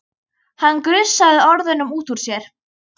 Hann gusaði orðunum út úr sér.